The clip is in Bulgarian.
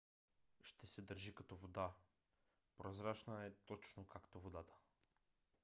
ще се държи като вода. прозрачна е точно както водата